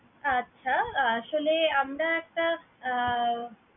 আচ্ছা। আসলে আমরা একটা আহ